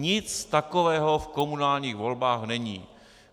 Nic takového v komunálních volbách není.